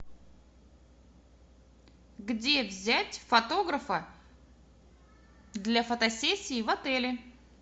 где взять фотографа для фотосессии в отеле